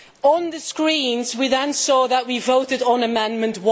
On the screens, we then saw that we voted on Amendment